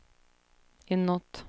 inåt